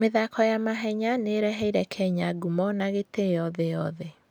mĩthako ya mahenya nĩ ĩreheire Kenya ngumo na gĩtĩo thĩ yothe.